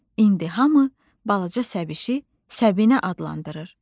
İndi hamı balaca Səbişi Səbinə adlandırır.